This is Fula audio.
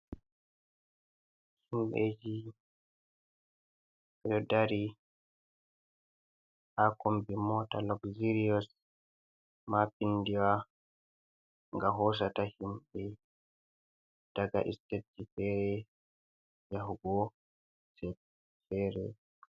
Himbeji do dari haa kombi mota louxirios mapindiwa ga hosata himɓe daga sitesji fere yahugo je fere.